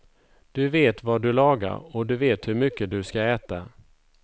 Du vet vad du lagar och du vet hur mycket du ska äta.